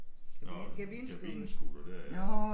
Nåh en kabinescooter der ja